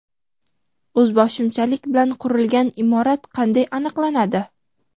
O‘zboshimchalik bilan qurilgan imorat qanday aniqlanadi?.